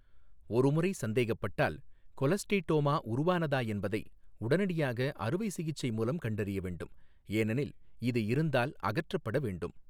ஒருமுறை சந்தேகப்பட்டால், கொலஸ்டீடோமா உருவானதா என்பதை உடனடியாக அறுவை சிகிச்சை மூலம் கண்டறிய வேண்டும், ஏனெனில் இது இருந்தால் அகற்றப்பட வேண்டும்.